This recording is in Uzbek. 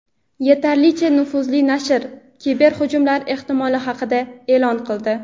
Yetarlicha nufuzli nashr kiberhujumlar ehtimoli haqida e’lon qildi.